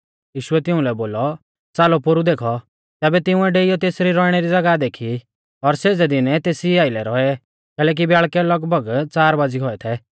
यीशुऐ तिउंलै बोलौ च़ालौ पोरु देखौ तैबै तिंउऐ डेइयौ तेसरी रौइणै री ज़ागाह देखी और सेज़ै दिनै तेसीई आइलै रौऐ कैलैकि ब्याल़कै लगभग च़ार बाज़ी गौऐ थै